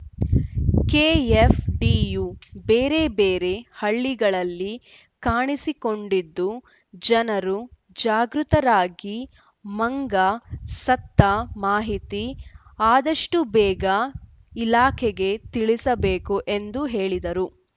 ಕೆಎಫ್‌ಡಿಯು ಬೇರೆ ಬೇರೆ ಹಳ್ಳಿಗಳಲ್ಲಿ ಕಾಣಿಸಿಕೊಂಡಿದ್ದು ಜನರು ಜಾಗೃತರಾಗಿ ಮಂಗ ಸತ್ತ ಮಾಹಿತಿ ಆದಷ್ಟುಬೇಗ ಇಲಾಖೆಗೆ ತಿಳಿಸಬೇಕು ಎಂದು ಹೇಳಿದರು